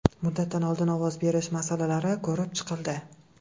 Muddatidan oldin ovoz berish masalalari ko‘rib chiqildi.